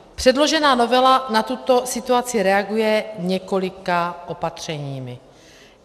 Předložená novela na tuto situaci reaguje několika opatřeními.